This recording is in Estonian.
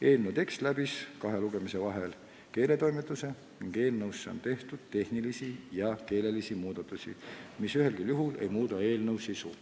Eelnõu tekst läbis kahe lugemise vahel keeletoimetuse ning selles on tehtud tehnilisi ja keelelisi muudatusi, mis ühelgi juhul ei muuda eelnõu sisu.